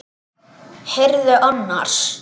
Heyrðu annars.